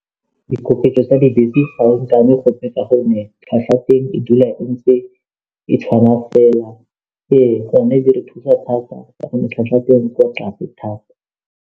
Dikoketso tsa dibese ga e nkame gope ka gonne tlhwatlhwa teng e dula ntse e tshwana fela, ee gone di re thusa thata gonne tlhwatlhwa teng e ko tlase thata.